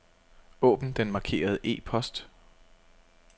Åbn den markerede e-post.